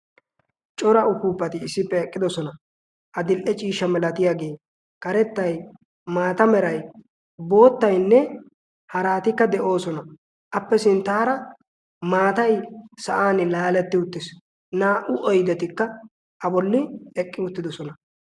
Cora upuupati issippe eqqidosona. a dil"e ciisha milatiyaagee karettai maata meray boottainne haraatikka de'oosona. appe sinttaara maatai sa'an laaletti uttiis. naa"u oidetikka a bolli eqqi uttidosona.